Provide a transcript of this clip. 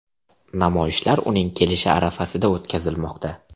Namoyishlar uning kelishi arafasida o‘tkazilmoqda.